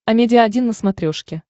амедиа один на смотрешке